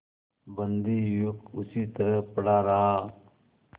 बंदी युवक उसी तरह पड़ा रहा